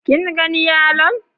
Kin gan yalon?